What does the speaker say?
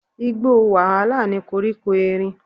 Igbó wàhálà ni koríko erin.